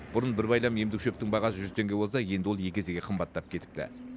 бұрын бір байлам емдік шөптің бағасы жүз теңге болса енді ол екі есеге қымбаттап кетіпті